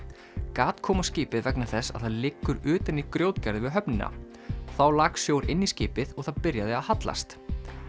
gat kom á skipið vegna þess að það liggur utan í grjótgarði við höfnina þá lak sjór inn í skipið og það byrjaði að hallast